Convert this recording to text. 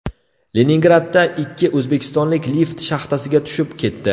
Leningradda ikki o‘zbekistonlik lift shaxtasiga tushib ketdi.